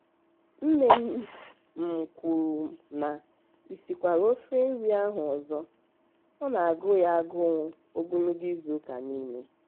nne m m kwuru na ị sikwara ofe nri ahụ ọzọ-ọ na-agụ ya agụụ ogologo izuụka niile.